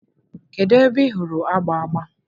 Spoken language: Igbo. kedu ebe ị hụrụ agba agba?